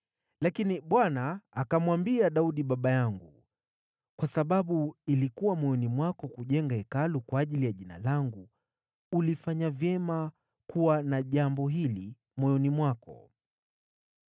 Lakini Bwana akamwambia Daudi baba yangu, ‘Kwa sababu ilikuwa moyoni mwako kujenga Hekalu kwa ajili ya Jina langu, ulifanya vyema kuwa na jambo hili moyoni mwako.